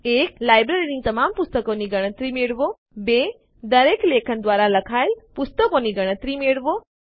લાઈબ્રેરીની તમામ પુસ્તકોની ગણતરી મેળવો